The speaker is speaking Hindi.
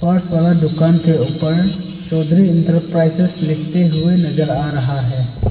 पास वाला दुकान के ऊपर चौधरी इंटरप्राइजेज लिखते हुए नजर आ रहा है।